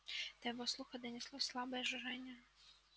до его слуха донеслось слабое жужжание